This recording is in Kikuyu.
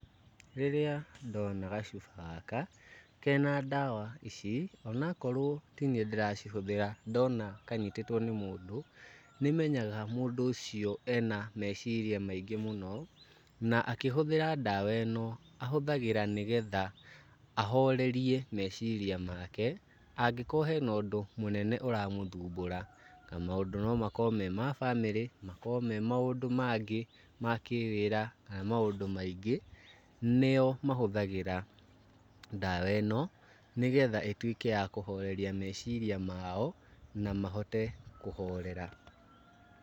Rĩrĩa ndona gacuba gaka kena ndawa ici, onakrowo tiniĩ ndĩracihũthĩra ndona kanyitĩtwo nĩ mũndũ, nĩmenyaga mũndũ ũcio ena meciria maingĩ mũno, na akĩhũthĩra ndawa ĩno, ahũthagĩra nĩgetha ahorerie meciria make, angĩkorwo hena ũndũ mũnene ũramũthumbũra, na maũndũ no makorwo me ma bamĩrĩ, no makorwo me maũndũ mangĩ ma kĩwĩra kana maũndũ maingĩ, nĩo mahũthagĩra ndawa ĩno nĩgetha ĩtuĩke ya kũhoreria meciria mao na mahote kũhorera.